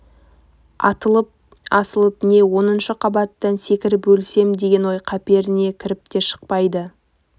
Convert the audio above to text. атылып асылып не оныншы қабаттан секіріп өлсем деген ой қаперіне кіріп те шықпайды